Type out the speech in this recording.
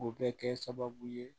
O bɛ kɛ sababu ye